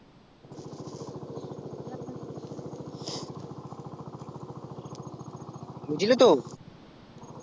বুঝলি তো